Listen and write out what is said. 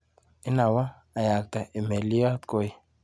Inanwa ayakte imeliot koii.